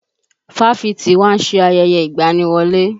Fáfitì wa ń ṣe ayẹyẹ ìgbaniwọlé